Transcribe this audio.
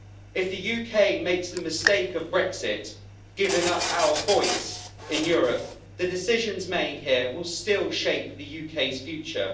If the UK makes the mistake of Brexit, giving up our voice in Europe, the decisions made here will still shape the UK's future.